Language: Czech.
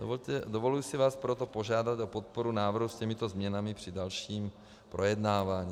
Dovoluji si vás proto požádat o podporu návrhu s těmito změnami při dalším projednávání.